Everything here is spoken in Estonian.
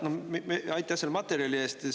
Aitäh selle materjali eest!